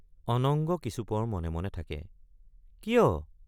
অনঙ্গ কিছুপৰ মনে মনে থাকে কিয়?